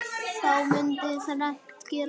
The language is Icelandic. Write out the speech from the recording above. Þá mundi þrennt gerast